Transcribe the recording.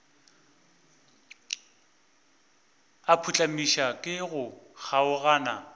a phuhlamišwa ke go kgaogana